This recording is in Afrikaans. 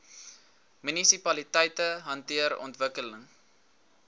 munisipaliteite hanteer ontwikkeling